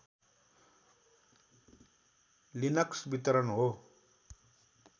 Linux वितरण हो